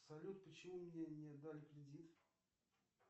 салют почему мне не дали кредит